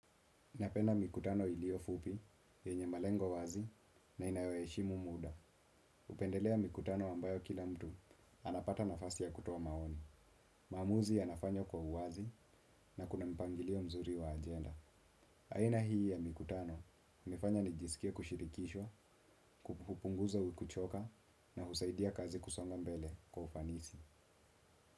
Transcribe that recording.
Napenda mikutano ilio fupi, yenye malengo wazi na inayoheshimu muda. Upendelea mikutano ambayo kila mtu, anapata nafasi ya kutoa maoni. Maamuzi ya nafanywa kwa uwazi na kuna mpangilio mzuri wa ajenda. Aina hii ya mikutano, imefanya nijisikie kushirikishwa, kupunguza kuchoka na husaidia kazi kusonga mbele kwa ufanisi.